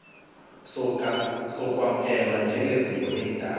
sokwamkelwa njengeziko elidala